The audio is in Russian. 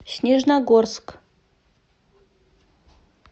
снежногорск